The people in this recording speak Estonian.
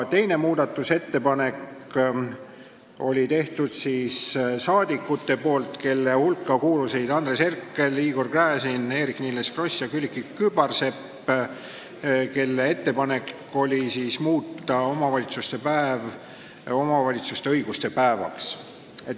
Teise muudatusettepaneku tegid rahvasaadikud, kelle hulka kuulusid Andres Herkel, Igor Gräzin, Eerik-Niiles Kross ja Külliki Kübarsepp, nende ettepanek oli muuta omavalitsuste päev omavalitsuste õiguste päevaks.